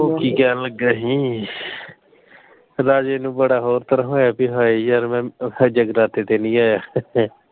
ਉਹ ਕੀ ਕਹਿਣ ਲੱਗਾ ਹੀ। ਰਾਜੇ ਨੂੰ ਬੜਾ ਹੋਰ ਤਰ੍ਹਾਂ ਹੋਇਆ ਬਈ ਹਾਏ ਯਾਰ ਮੈਂ ਜਗਰਾਤੇ ਤੇ ਨਹੀਂ ਆਇਆ।